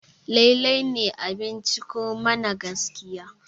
lallai ne a binciko mana gaskiya?